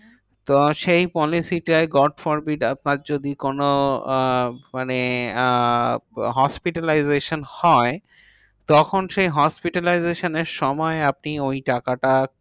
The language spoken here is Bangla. তো সেই policy টায় কোনো আহ মানে আহ hospitalization হয়, তখন সেই hospitalization এর সময় আপনি ওই টাকাটা